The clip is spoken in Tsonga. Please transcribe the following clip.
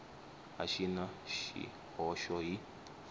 a xi na swihoxo hi